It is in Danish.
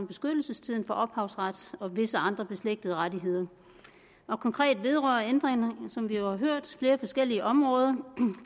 beskyttelsestiden for ophavsret og visse andre beslægtede rettigheder konkret vedrører ændringerne som vi har hørt flere forskellige områder